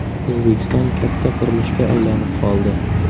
O‘zbekiston katta qurilishga aylanib qoldi.